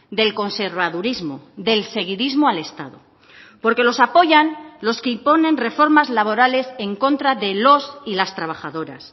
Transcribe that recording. del conservadurismo del seguidismo al estado porque los apoyan los que imponen reformas laborales en contra de los y las trabajadoras